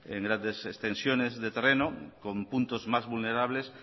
en grandes extensiones de terreno con puntos más vulnerables